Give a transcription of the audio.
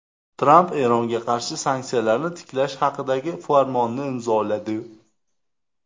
Tramp Eronga qarshi sanksiyalarni tiklash haqidagi farmonni imzoladi.